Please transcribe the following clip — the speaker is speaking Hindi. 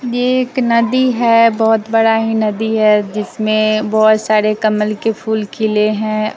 ये एक नदी है बहोत बड़ा ही नदी है जिसमें बहोत सारे कमल के फूल खिले हैं।